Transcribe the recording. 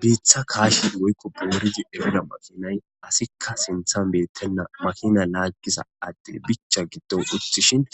biitha kaashidi woykko booridi efida makinay asikka sinthan beettenna makina laaggisa addin bicha giddon uthishin